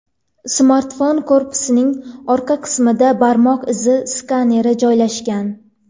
Smartfon korpusining orqa qismida barmoq izi skaneri joylashgan.